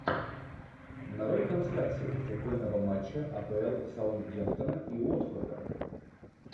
нарой трансляцию футбольного матча апл саутгемптона и уотфорда